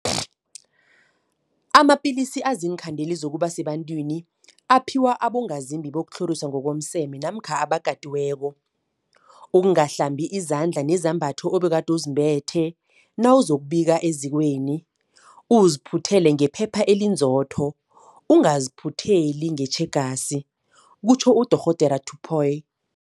Amapilisi aziinkhandeli zokuba sebantwini aphiwa abongazimbi bokutlhoriswa ngokomseme namkha abakatiweko. Ungahlambi izandla nezembatho obegade uzembethe nawuzokubika ezikweni, uziphuthele ngephepha elinzotho, ungaziphutheli ngetjhegasi, kutjho uDorh Tipoy.